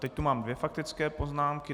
Teď tu mám dvě faktické poznámky.